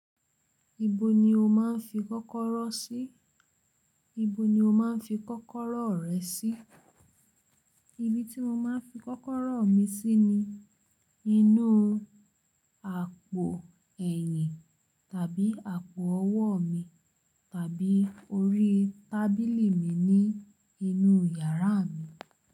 Ibo ni o máa ń fi kọ́kọ́rọ́ sí? Ibo ni o máa ń fi kọ́kọ́rọ́ rẹ sí? Ibi tí mo máa ń fi kọ́kọ́rọ́ mi sí ni inú àpò ẹ̀yìn tàbí àpò ọwọ́ mi tàbí orí tábìlì mi ní inú yàrá mi.